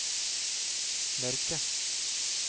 mørke